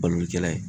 Balokɛla ye